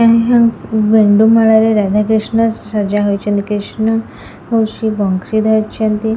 ଏଇ ହା ଗେଣ୍ଡୁ ମାଳା ରେ ରାଧା କ୍ରିଷ୍ଣ ସଜା ହୋଇଛନ୍ତି କ୍ରିଷ୍ଣ ବଂସି ଧରିଛନ୍ତି।